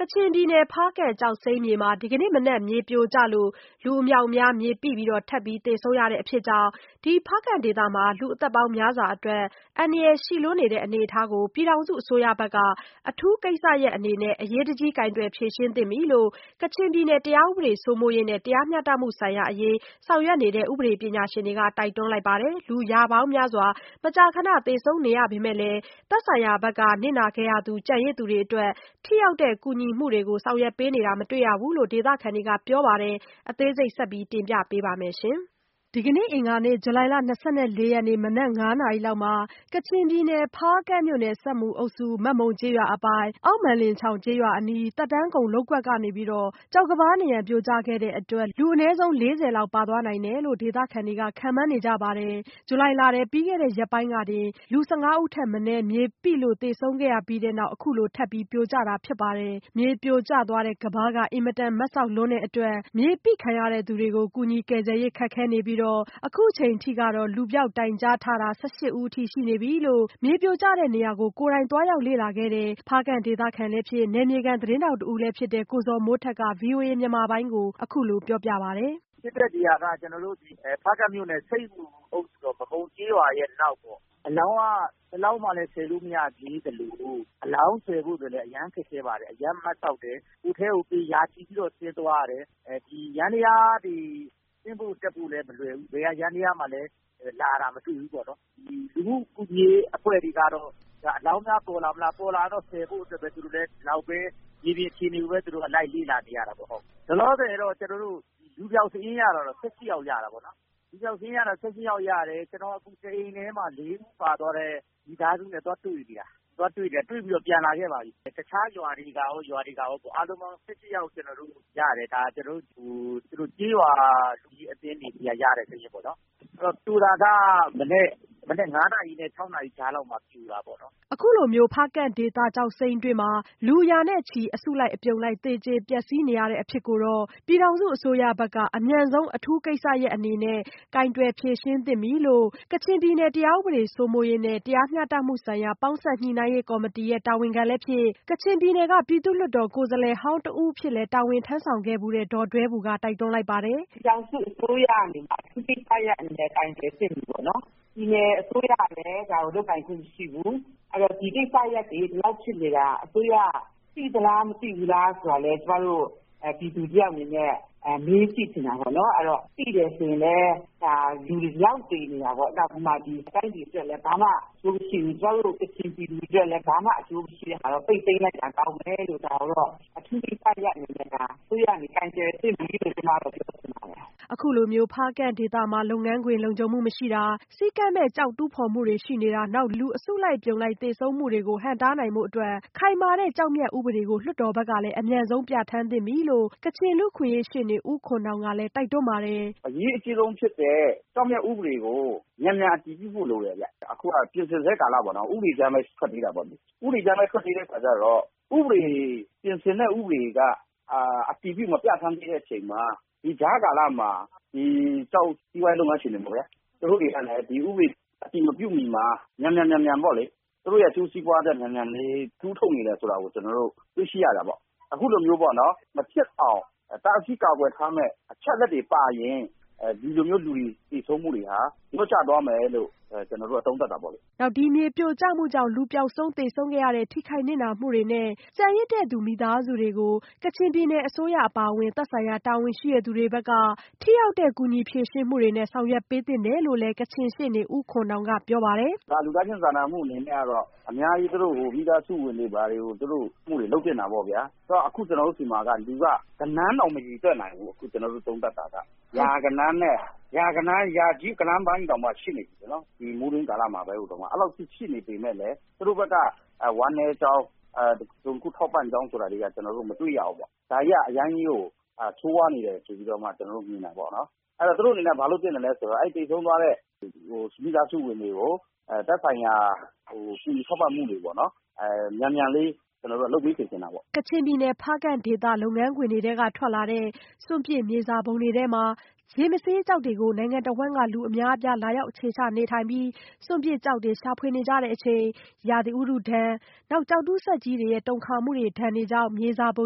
ကချင်ပြည်နယ်ဖားကန့်ကျောက်စိမ်းမြေမှာ ဒီကနေ့မနက် မြေပြိုကျလို့ လူအမြောက်အမြားမြေပိပြီး ထပ်သေဆုံးနေရတဲ့ အဖြစ်ကြောင့် ဒီဖားကန့်ဒေသရဲ့ လူ့အသက်ပေါင်းများစွာအတွက် အန္တရာယ်ရှိလွန်းနေတဲ့အနေအထားကို ပြည်ထောင်စုအစိုးရဘက်က အထူးကိစ္စရပ်အနေနဲ့ အရေးတကြီး ကိုင်တွယ်ဖြေရှင်းသင့်ပြီလို့ ကချင်ပြည်နယ် တရားဥပဒေစိုးမိုးရေးနဲ့ တရားမျှတမှုဆိုင်ရာ အရေးဆောင်ရွက်နေတဲ့ ပညာရှင်တွေက တိုက်တွန်းလိုက်ပါတယ်။ လူရာပေါင်းများစွာ မကြာခဏသေဆုံးနေရပေမဲ့လည်း သက်ဆိုင်ရာဘက်က နစ်နာခဲ့ရသူကျန်ရစ်သူတွေအတွက် ထိရောက်တဲ့ ကူညီမှုတွေ ဆောင်ရွက်ပေးတာလည်းမတွေ့ရဘူးလို့ ဒေသခံတွေကပြောပါတယ်။ အသေးစိတ် မဆုမွန် ဆက်သွယ်မေးမြန်းထားပါတယ်။ ဒီကနေ့ အင်္ဂါနေ့ ဇူလိုင်လ ၂၄ရက်နေ့ မနက် ၅း၀၀နာရီ လောက် ကချင်ပြည်နယ် ဖားကန့်မြို့နယ် ဆပ်မူအုပ်စု မက်မုံကျေးရွာအပိုင် အောက်မက်လင်ချောင် ကျေးရွာအနီး သက်တမ်းကုန်လုပ်ကွက်ကနေ ကျောက်ကမ်းပါးနံရံပြိုကျခဲ့တဲ့အတွက် လူအနည်းဆုံး လေးဆယ်လောက် ပါသွားနိုင်တယ်လို့ ဒေသခံတွေခန့်မှန်းနေကြပါတယ်။ ဒီလဇူလိုင်လထဲမှာ ပြီးခဲ့တဲ့ရက်ပိုင်းကတင် လူ၁၅ဦးထက်မနည်း မြေပိလို့သေဆုံးခဲ့ရပြီးနောက် အခုလိုထပ်ပြိုကျတာဖြစ်ပါတယ်။ မြေပြိုကျသွားတဲ့ ကမ်းပါးက အင်မတန်မတ်စောက်လွန်းတဲ့အတွက် မြေပိခံရတဲ့သူတွေကို ကူညီကယ်ဆယ်ရေး ခက်ခဲနေပြီး အခုအချိန်ထိကတော့ လူပျောက်တိုင်ကြားထားတာ ၁၈ဦးအထိရှိနေပြီလို့ မြေပြိုကျတဲ့နေရာကို သွားရောက်လေ့လာခဲ့တဲ့ ဖားကန့်ဒေသခံလည်းဖြစ် နယ်မြေခံသတင်းထောက်တဦးဖြစ်တဲ့ ကိုဇော်မိုးထက်က ဗွီအိုအေမြန်မာပိုင်းကို အခုလိုပြောပါတယ်။ "ဖြစ်တဲ့နေရာက ကျနော်တို့ ဖားကန့်မြို့နယ် ဆပ်မူအုပ်စု မက်မုံကျေးရွာအနောက်ပေါ့။ အလောင်းက ၁လောင်းမှ ဆယ်လို့မရသေးသလို အလောင်းဆယ်ဖို့ အရမ်းခက်ခဲပါတယ်။ အရမ်းမတ်စောက်တယ်။ အထဲကို ရာချီပြီးတော့ ဆင်းသွားရတယ်။ ယန္တယားတွေ ဆင်းဖို့တက်ဖို့လည်းမလွယ်ဘူး။ ဘယ်ယန္တယားမှလည်း လာတာမတွေ့ဘူးပေါ့နော်။ လူမှုကူညီရေးအဖွဲ့တွေကတော့ အလောင်းများပေါ်လာမလား၊ ပေါ်လာရင်တော့ ဆယ်ဖို့အတွက် ဒီလောက်ပဲ မြေပြင်အခြေအနေကို လိုက်လေ့လာနေရတာပေါ့။ လောလောဆည် လူပျောက်စာရင်းကတော့ ၁၈ ယောက်ရတာပေါ့နော်။ လူပျောက်စာရင်း ၁၈ ယောက်ရတယ်။ ကျနော်အခု တအိမ်ထဲမှာ ၄ ဦးပါသွားတဲ့ မိသားစုနဲ့ သွားတွေ့နေတာ ၊ တွေ့ပြီးတော့ ပြန်လာခဲ့ပါပြီ။ တခြားရွာတွေကရော အားလုံးပေါင်း ၁၈ ယောက်ကျနော်တို့ ရထားပြီ ၊ ဒါတွေက ကျေးရွာလူကြီးအသင်းတွေဆီက ရတဲ့သတင်းပေါ့နော် ၊ ပြိုတာကတော့ မနက် ၅ နာရီနဲ့ ၆ နာရီကြားထဲမှာ ပြိုတာပေါ့နော်။" အခုလို ဖားကန့်ဒေသကျောက်စိမ်းတွင်းမှာ လူရာနဲ့ချီ အစုလိုက်အပြုံလိုက်သေကြပျက်စီးနေရတဲ့အဖြစ်ကို ပြည်ထောင်စုအစိုးရဘက်က အမြန်ဆုံးအထူးကိစ္စရပ်အနေနဲ့ ကိုင်တွယ်ဖြေရှင်းသင့်နေပြီလို့ ကချင်ပြည်နယ် တရားဥပဒေစိုးမိုးရေးနဲ့ တရားမျှတမှုဆိုင်ရာ ပေါင်းစပ်ညှိနှိုင်းရေးကော်မတီရဲ့တာဝန်ခံလည်းဖြစ် ကချင်ပြည်နယ်က ပြည်သူ့လွှတ်တော်ကိုယ်စားလှယ်ဟောင်းတဦးလည်းဖြစ်ခဲ့ဖူးတဲ့ ဒေါ်ဒွဲဘူက တိုက်တွန်းလိုက်ပါတယ်။ " ပြည်ထောင်စုအစိုးရအနေနဲ့ အထူးကိစ္စရပ်အနေနဲ့ ကိုင်တွယ်သင့်ပြီပေါ့နော်။ ပြည်နယ်အစိုးရကလည်း ဒါကိုလုပ်ပိုင်ခွင့်မရှိဘူး။ အဲဒီတော့ ဒီကိစ္စရပ်တွေ ဒီလောက်ဖြစ်နေတာ အစိုးရက သိသလား မသိဘူးလားဆိုတာကို ကျမတို့ ပြည်သူတယောက်အနေနဲ့ မေးကြည့်ချင်တာပေါ့နော်။ သိတယ်ဆိုရင်လည်း လူဒီလောက်သေနေတာပေါေ့နာ်။ တိုင်းပြည်အတွက်လည်း ဘာမှ အကျိုးမရှိဘူး၊ ကချင်ပြည်သူတွေအတွက်လည်း ဘာမှ အကျိုးမရှိတာကို ပိတ်သိမ်းလိုက်တာ ကောင်းမယ်လို့ ဒါကိုတော့ အထူကိစ္စရပ်အနေနဲ့ အစိုးရကနေ ကိုင်တွယ်သင့်ပြီလို့ ပြောချင်ပါတယ်။" အခုလို ဖားကန့်ဒေသမှာ လုပ်ငန်းခွင် လုံခြုံမှုမရှိတာ စည်းကမ်းမဲ့ ကျောက်တူးဖော်မှုတွေရှိနေတာ နောက် လူတွေ အစုလိုက်အပြုံလိုက်သေဆုံးမှုတွေကို ဟန့်တားနိုင်ဖို့အတွက် ခိုင်မာတဲ့ ကျောက်မျက်ဥပဒေကို လွှတ်တော်ဘက်ကလည်း အမြန်ဆုံးပြဋ္ဌာန်းသင့်ပြီလို့ ကချင်လူ့အခွင့်အရေးရှေ့နေဦးခွန်နောင်ကလည်း တိုက်တွန်းပါတယ်၊ "အရေးအကြီးဆုံးဖြစ်တဲ့ ကျောက်မျက်ဥပဒေကို မြန်မြန်အတည်ပြုဖို့လိုတယ်။ အခုက ပြင်ဆင်စဲကာလမှာ ဥပဒေကြမ်းပဲ ထွက်သေးတာပေါ့နော်။ ဥပဒေကြမ်းပဲ ထွက်သေးတဲ့အခါကျတော့ ပြင်ဆင်တဲ့ဥပဒေ က အတည်ပြုမပြဌာန်းသေးတဲ့အခါကျတော့ ဒီကြားကာလမှာ စီးပွားရေးလုပ်ငန်းရှင်တွေပေါ့ဗျာ သူူတို့တွေက ဒီဥပဒေ အတည်မပြုမီမှာ သူတို့အကျိုးစီးပွားအတွက် မြန်မြန်လေး တူးထုတ်နေတယ်ဆိုတာကို ကျနော်တို့ တွေ့ရှိရတာပေါ့လေ။ အခုလို မဖြစ်အောင် တားဆီးကာကွယ်ထားမယ့် အချက်အလက်တွေပါရင် ဒီလိုမျိုးလူတွေ သေဆုံးမှုတွေဟာ လျော့ကျသွားမယ်လို့ သုံးသပ်တာပေါ့လေ။" နောက် မြေပြိုကျမှုတွေကြောင့် လူပျောက်ဆုံး သေဆုံးခဲ့ရတဲ့ ထိခိုက်နစ်နာမှုတွေနဲ့ ကျန်ရစ်သူမိသားစုတွေကို ကချင်ပြည်နယ်အစိုးရ သက်ဆိုင်ရာတာဝန်ရှိသူတွေဘက်က ထိရောက်တဲ့ ကူညီဖြေရှင်းမှုတွေနဲ့ ဆောင်ရွက်ပေးသင့်တယ်လို့လည်းကချင်ရှေ့နေဦးခွန်နောင်က ပြောပါတယ်။ "လူသားချင်းစာနာမှုအနေနဲ့ကတော့ အများကြီးသူတို့ကို မိသားစုဝင်တွေကို ထောက်တာတွေ လုပ်သင့်တာပေါ့ဗျာ ။ အခုကျနော်တို့ဆီမှာက လူက ဂဏန်းတောင်းမရေတွက်နိုင်ဘူး။ အခုကျနော်တို့ သုံးသပ်တာက ရာကြီးဂဏန်းပိုင်းတောင်မှ ရှိနေပြီ။ ဒီမိုးတွင်းကာလပိုင်းမှာ အဲဒီလောက်အထိ ရှိနေပေမယ့်လည်း သူတို့ ဘက်က ဝမ်းနည်းကြောင်း၊ တစုံတခုထောက်ပံ့ကြောင်းဆိုတာတွေက မတွေ့ရဘူး။ ဒါတွေက အရမ်းကို ဆိုးဝါးနေတယ်ဆိုပြီး မြင်တာပေါ့နော် ။ သူတို့အနေနဲ့ ဘာလုပ်သင့်သလဲဆိုတော့ သေဆုံးသွားတဲ့ မိသားစုဝင်တွေကို သက်ဆိုင်ရာ ကူညီထောက်ပံ့မှုတွေ မြန်မြန်လေးလုပ်ခိုင်းစေချင်တာပေါ့နော်။" ကချင်ပြည်နယ်ဖားကန့်ဒေသက ကျောက်စိမ်းတူးဖော်တဲ့ လုပ်ငန်းခွင်တွေက ထွက်လာတဲ့ စွန့်ပစ်မြေစာပုံတွေထဲမှာ ရေမဆေးကျောက်တွေကို နိုင်ငံတဝှမ်းက လူူအများအပြား လာရောက်အခြေချကြပြီး စွန့်ပစ်ကျောက်တွေကို ရှာဖွေနေကြချိန် ရာသီဥတုဒဏ်၊ ကျောက်တူးစက်ကြီးတွေနဲ့ တူးဖော်နေလို့ တုန်ခါမှုတွေနဲ့ မြေစာပုံ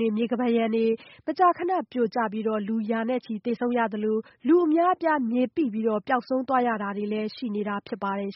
တွေ မြေကမ်းပါးရံတွေမကြာခဏ ပြိုကျလို့ လူရာချီနဲ့သေဆုံးရတာရှိသလို လူအများအပြား မြေပိပြီး ပျောက်ဆုံးသွားရတာတွေလည်းရှိနေတာဖြစ်ပါတယ်